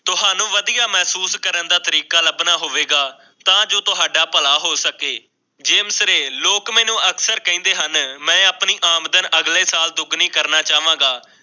ਮੈਂ ਢੂੰਡ ਕਰਨ ਦਾ ਤਰੀਕਾ ਲੱਭਣਾ ਹੋਵੇਗਾ ਤਾਂ ਤੁਹਾਡਾ ਭਲਾ ਹੋ ਸਕੇ ਅਤੇ ਨਾਲ ਹੀ ਆਪਣੀ ਆਮਦਨ ਅਗਲੇ ਸਾਲ ਦੁੱਗਣੀ ਕਰਨਾ ਚਾਹਾਂਗਾ